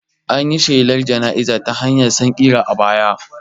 An yi shelar jana'iza ta hanyar sankira a baya